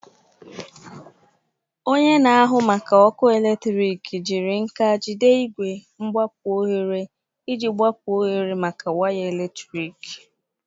Onye na-ahụ maka ọkụ eletrik jiri nka jide igwe mgbapu oghere iji gbapuo oghere maka waya eletrik.